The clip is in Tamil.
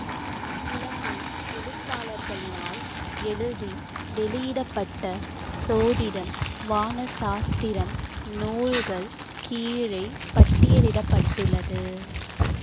இலங்கை எழுத்தாளர்களினால் எழுதி வெளியிட பட்ட சோதிடம் வானசாஸ்திரம் நூல்கள் கீழே பட்டியலிட பட்டுள்ளது